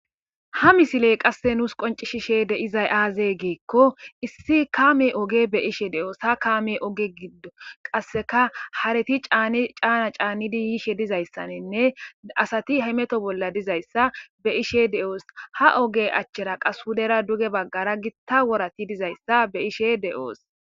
Ha misiley qasse nuus qoncishishe de izay aazee geekko issi kaame oge be ishe de'oos ha kaame oge giddo qasseka hareti caana caannidi yiishe dizayssaninne asati hymeto bolla dizayssa be ishe de'oos ha oge achchera qashudera duge baggara gitta worati dizayssa be ishe de'oos.